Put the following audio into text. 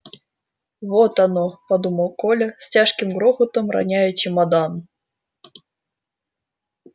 вот оно подумал коля с тяжким грохотом роняя чемодан